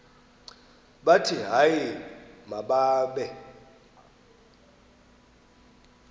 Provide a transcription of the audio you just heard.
bathi hayi mababe